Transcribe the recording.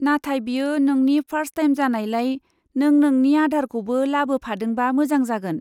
नाथाय बेयो नोंनि फार्स्ट टाइम जानायलाय, नों नोंनि आधारखौबो लाबोफादोंबा मोजां जागोन।